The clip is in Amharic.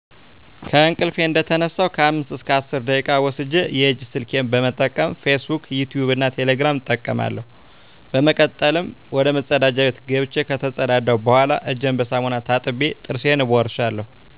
ከእንቅልፊ እንደተነሳሁ ከአምስት እስከ አስር ደቂቃ ወስጀ የእጅ ስልኬን በመጠቀም "ፊስ ቡክ" ፣"ዩቲቭ" እና "ቴሌግራም" እጠቀማለሁ። በመቀጠልም ወደመጸዳጃ ቤት ገብቸ ከተጸዳዳሁ በኋላ እጀን በሳሙና ታጥቤ ጥርሴን እቦርሻለሁ።